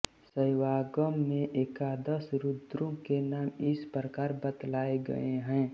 शैवागम में एकादश रुद्रों के नाम इस प्रकार बतलाये गये हैं